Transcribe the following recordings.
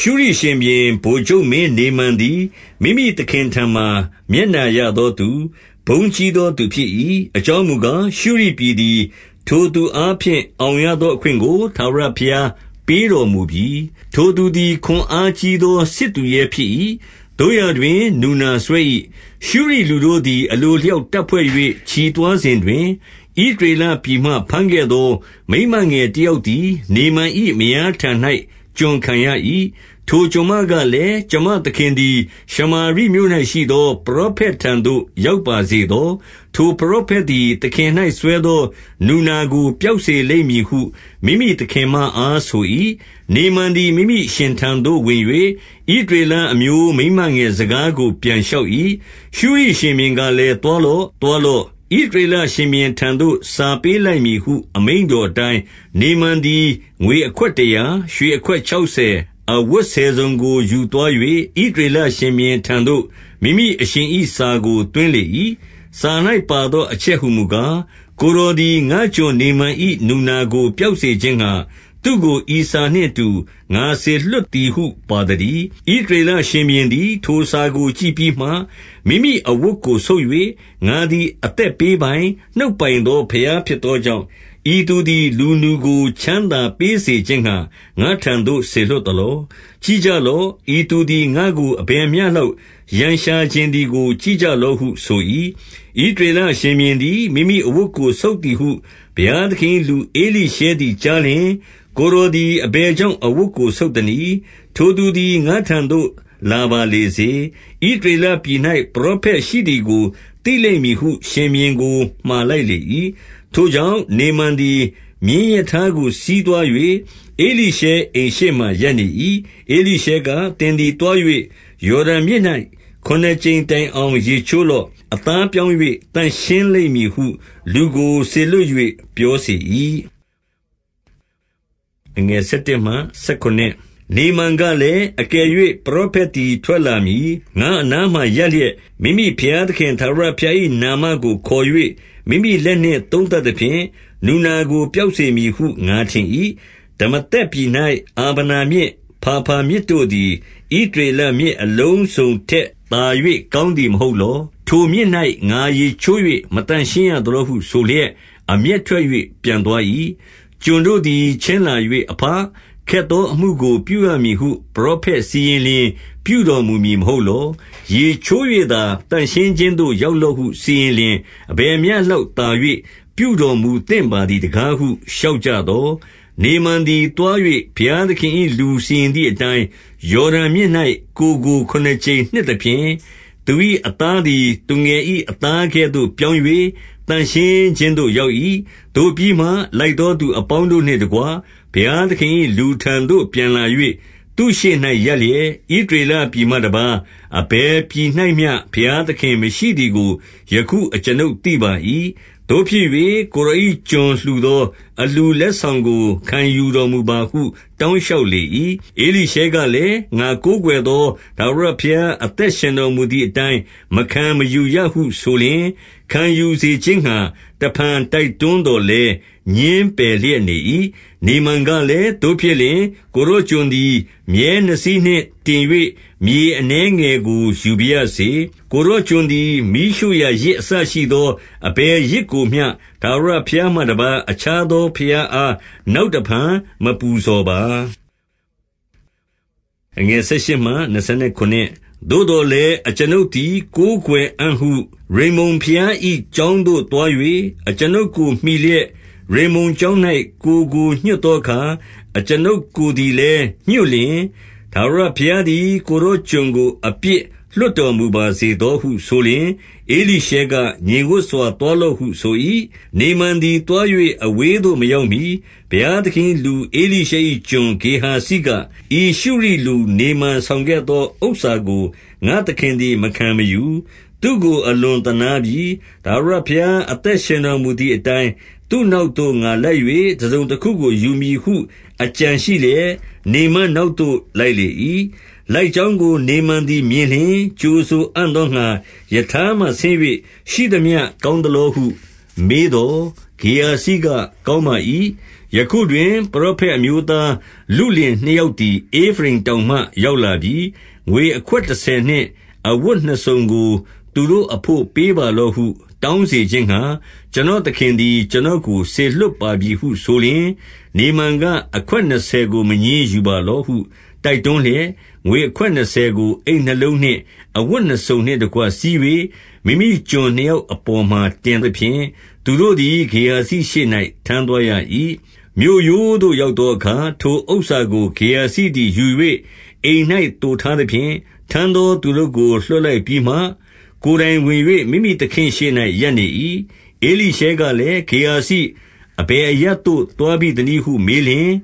ရှုရိရှင်ဘုရင်၏ ဗိုလ်ချုပ်မင်းနေမန်သည် မိမိ သခင်ထံမှာ မျက်နှာရသောသူ၊ ဘုန်းကြီးသောသူဖြစ်၏။ အကြောင်းမူကား၊ ရှုရိပြည်သည် ထိုသူအားဖြင့် အောင်ရ သောအခွင့်ကို ထာဝရဘုရား ပေးတော်မူပြီ။ ထိုသူသည် ခွန်အားကြီးသော စစ်သူရဲဖြစ်၏။ သို့ရာတွင် နူနာစွဲ၏။ 2 ရှုရိလူတို့သည် အလိုအလျောက်တပ်ဖွဲ့၍ ချီသွား စဉ်တွင်၊ ဣသရေလပြည်မှ ဘမ်းခဲ့သော မိန်းမငယ် တယောက်သည် နေမန်၏မယားထံ၌ ကျွန်ခံရ၏။ 3 ထိုကျွန်မကလည်း၊ ကျွန်မသခင်သည် ရှမာရိမြို့ ၌ရှိသော ပရောဖက်ထံသို့ ရောက်ပါစေသော။ ထိုပရော ဖက်သည် သခင်၌ စွဲသော နူနာကို ပျောက်စေလိမ့်မည်ဟု မိမိသခင်မအားဆို၏။ 4 နေမန်သည် မိမိအရှင်ထံသို့ ဝင်၍ဣသရေလ အမျိုးမိန်းမငယ်စကားကို ပြန်လျှောက်၏။ 5 ရှုရိရှင်ဘုရင်ကလည်း သွားလော့။ သွားလော့။ ဣသရေလရှင်ဘုရင်ထံသို့ စာပေးလိုက်မည်ဟု အမိန့် တော်အတိုင်း၊ နေမန်သည် ငွေအခွက်တရာ၊ ရွှေအခွက် ခြောက်ဆယ်၊ အဝတ်ဆယ်စုံကို ယူသွား၍၊ 6 ဣသရေလရှင်ဘုရင်ထံသို့ မိမိအရှင်၏စာကို သွင်းလေ၏။ စာ၌ပါသော အချက်ဟူမူကား၊ ကိုယ်တော် သည် ငါ့ကျွန်နေမန်၏နူနာကို ပျောက်စေခြင်းငှါ သူ့ကို ဤစာနှင့် အတူငါစေလွှတ်သည်ဟု ပါသတည်း။ 7 ဣသရေလရှင်ဘုရင်သည် ထိုစာကိုကြည့်ပြီးမှ၊ မိမိအဝတ်ကို ဆုတ်၍၊ ငါသည်အသက်ပေးပိုင်၊ နှုတ်ပိုင် သော ဘုရားဖြစ်သောကြောင့်၊ ဤသူသည် လူနူကိုချမ်းသာပေးစေခြင်းငှါ ငါ့ထံသို့စေလွှတ်သလော။ ကြည့်ကြလော။ ဤသူသည် ငါ့ကို အဘယ် မျှလောက်ရန်ရှာချင်သည်ကို ကြည့်ကြလော့ဟု ဆို၏။ 8 ဣသရေလရှင်ဘုရင်သည် မိမိအဝတ်ကို ဆုတ် သည်ဟု ဘုရားသခင်၏ လူဧလိရှဲသည်ကြားလျှင်၊ ကိုယ်တော်သည် အဘယ်ကြောင့် အဝတ်ကို ဆုတ် သနည်း။ ထိုသူသည် ငါ့ထံသို့ လာပါလေစေ။ ဣသရေလ ပြည်၌ ပရောဖက်ရှိသည်ကိုသိလိမ့်မည်ဟု ရှင်ဘုရင်ကို မှာလိုက်လေ၏။ 9 ထိုကြောင့်၊ နေမန်သည် မြင်းရထားကို စီးသွား၍ ဧလိရှဲအိမ်ရှေ့ မှာ ရပ်နေ၏။ 10 ဧလိရှဲက၊ သင်သည်သွား၍ ယော်ဒန်မြစ်၌ ခုနစ်ကြိမ်တိုင် အောင်ရေချိုးလော့။ အသားပြောင်း၍ သန့်ရှင်းလိမ့်မည်ဟု လူကိုစေလွှတ် ၍ ပြောစေ၏။ 11 နေမန်ကလည်း၊ အကယ်၍ ပရောဖက်သည် ထွက်လာမည်။ ငါ့အနားမှာ ရပ်လျက် မိမိဘုရားသခင် ထာဝရဘုရား၏နာမကို ခေါ်၍ မိမိလက်နှင့်သုံးသပ် သဖြင့် နူနာကို ပျောက်စေမည်ဟု ငါထင်၏။ 12 ဒမာသက်ပြည်၌အာဗနမြစ်၊ ဖာဖာမြစ်တို့သည် ဣသရေလမြစ်အလုံးစုံထက်သာ၍ ကောင်းသည် မဟုတ် လော။ ထိုမြစ်၌ ငါရေချိုး၍ မသန့်ရှင်းရသလောဟု ဆိုလျက် အမျက်ထွက်၍ ပြန်သွား၏။ 13 ကျွန်တို့သည် ချဉ်းလာ၍ အဘ၊ ခက်သောအမှု ကို ပြုရမည်ဟု ပရောဖက်စီရင်လျှင် ပြုတော်မူမည် မဟုတ်လော။ ရေချိုး၍သာ သန့်ရှင်းခြင်းသို့ ရောက် လော့ဟု စီရင်လျှင် အဘယ်မျှလောက်သာ၍ ပြုတော်မူ သင့်ပါသည်တကားဟု လျှောက်ကြသော်၊ 14 နေမန်သည် သွား၍ ဘုရားသခင်၏ လူစီရင် သည်အတိုင်း၊ ယော်ဒန်မြစ်၌ ကိုယ်ကိုခုနစ်ကြိမ်နှစ် သဖြင့်၊ သူ၏အသားသည် သူငယ်၏အသားကဲ့သို့ ပြောင်း၍ သန့်ရှင်းခြင်းသို့ ရောက်၏။ 15 သို့ပြီးမှ လိုက်သော သူအပေါင်းတို့နှင့်တကွ ဘုရားသခင်၏ လူထံသို့ပြန်လာ၍ သူ့ရှေ့၌ရပ်လျက်၊ ဣသရေလပြည်မှတပါး အဘယ်ပြည်၌မျှ ဘုရားသခင် မရှိသည်ကို ယခုအကျွန်ုပ်သိပါ၏။ သို့ဖြစ်၍ ကိုယ်တော် ၏ကျွန်လှူသော အလှူလက်ဆောင်ကို ခံယူတော်မူပါဟု တောင်းလျှောက်လေ၏။ 16 ဧလိရှဲကလည်း၊ ငါကိုးကွယ်သော ထာဝရဘုရား အသက်ရှင်တော်မူသည်အတိုင်း မခံမယူရဟုဆိုလျှင်၊ ခံယူစေခြင်းငှါ တဖန် တိုက်တွန်းသော်လည်း ငြင်းပယ် လျက်နေ၏။ 17 နေမန်ကလည်း၊ သို့ဖြစ်လျှင် ကိုယ်တော်ကျွန် သည် မြည်းနှစ်စီးနှင့် တင်၍မြေအနည်းငယ်ကို ယူပါရ စေ။ ကိုယ်တော်ကျွန်သည် မီးရှို့ရာ ယဇ်အစရှိသော အဘယ်ယဇ်ကိုမျှ ထာဝရဘုရားမှ တပါးအခြားသော ဘုရားအား နောက်တဖန် မပူဇော်ပါ။ 18 သို့သော်လည်း အကျွန်ုပ်သခင်သည် ကိုးကွယ် အံ့ဟု ရိမ္မုန်ဘုရား၏ကျောင်းသို့သွား၍ အကျွန်ုပ်ကို မှီလျက်ရိမ္မုန်ကျောင်း၌ ကိုယ်ကို ညွှတ်သောအခါ၊ အကျွန်ုပ်ကိုယ်သည်လည်းညွတ်လျှင်၊ ထာဝရဘုရားသည် ကိုယ်တော်ကျွန်ကို အပြစ်လွှတ်တော်မူပါစေသောဟု ဆိုလျှင်၊ 19 ဧလိရှဲက၊ ငြိမ်ဝပ်စွာသွားလော့ဟု ဆို၏။ နေမန် သည် သွား၍ အဝေးသို့မရောက်မှီ၊ 20 ဘုရားသခင်၏လူဧလိရှဲ၏ကျွန်ဂေဟာဇိက၊ ဤရှုရိလူနေမန်ဆောင်ခဲ့သော ဥစ္စာကို ငါ့သခင်သည် မခံမယူ။ သူ့ကို အလွန်သနားပြီ။ ထာဝရဘုရား အသက် ရှင်တော်မူသည်အတိုင်း၊ သူ့နောက်သို့ ငါလိုက်၍ တစုံတခုကို ယူမည်ဟု အကြံရှိလျက်၊ 21 နေမန်နောက်သို့ လိုက်လေ၏။ လိုက်ကြောင်း ကို နေမန်သည် မြင်လျှင်၊ ကြိုဆိုအံ့သောငှါ ရထားမှ ဆင်း၍၊ ရှိသမျှကောင်းသလောဟုမေးသော်၊ 22 ဂေဟာဇိကကောင်းပါ၏။ ယခုတွင် ပရောဖက် အမျိုးသားလုလင်နှစ်ယောက်သည် ဧဖရိမ်တောင်မှ ရောက်လာပြီ။ ငွေအခွက်တဆယ်နှင့်အဝတ်နှစ်စုံကို သူတို့အဘို့ပေးပါလော့ဟု တောင်းစေခြင်းငှါ၊ ကျွန်တော် သခင်သည် ကျွန်တော်ကိုစေလွှတ်ပါပြီဟု ဆိုလျှင်၊ 23 နေမန်က၊ အခွက်နှစ်ဆယ်ကို မငြင်းယူပါလော့ ဟု တိုက်တွန်းလျက်၊ ငွေအခွက်နှစ်ဆယ်ကို အိတ်နှစ်လုံး၌ အဝတ်နှစ်စုံနှင့်တကွ စည်း၍ မိမိကျွန်နှစ်ယောက်အပေါ် မှာ တင်သဖြင့်၊ သူတို့သည်ဂေဟာဇိရှေ့၌ ထမ်းသွားရ၏။ 24 မြို့ရိုးသို့ ရောက်သောအခါ၊ ထိုဥစ္စာကို ဂေဟာဇိ သည် ယူ၍ အိမ်၌သိုထားသဖြင့်၊ ထမ်းသောသူတို့ကို လွှတ်လိုက်ပြီးမှ၊ 25 ကိုယ်တိုင်ဝင်၍ မိမိသခင့်ရှေ့၌ ရပ်နေ၏။ဧလိရှဲကလည်း၊ ဂေဟာဇိ၊ အဘယ်အရပ်သို့ သွားဘိ သနည်းဟု မေးလျှင်၊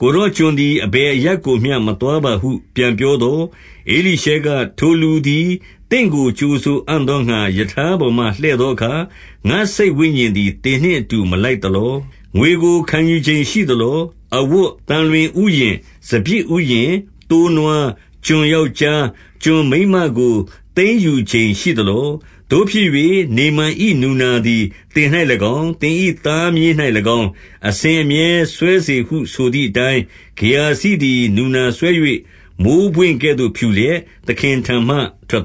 ကိုယ်တော်ကျွန်သည် အဘယ်အရပ် ကိုမျှ မသွားပါဟုပြန်ပြောသော်၊ 26 ဧလိရှဲက၊ ထိုလူသည်သင့်ကို ကြိုဆိုအံ့သောငှါ၊ ရထားပေါ်မှ လှည့်သောအခါ၊ ငါ့စိတ်ဝိညာဉ်သည် သင်နှင့်အတူ မလိုက်သလော။ ငွေကိုခံယူချိန်ရှိသလော။ အဝတ်၊ သံလွင်ဥယျာဉ်၊ စပျစ်ဥယျာဉ်၊ သိုးနွား၊ ကျွန် ယောက်ျား၊ ကျွန်မိန်းမကို သိမ်းယူချိန်ရှိသလော။ 27 သို့ဖြစ်၍နေမန်၏ နူနာသည်သင်၌၎င်း၊ သင်၏ သားမြေး၌၎င်း၊ အစဉ်အမြဲစွဲစေဟု ဆိုသည်အတိုင်း၊ ဂေဟာဇိသည် နူနာစွဲ၍ မိုဃ်းပွင့်ကဲ့သို့ဖြူလျက်၊ သခင်ထံ မှ ထွက်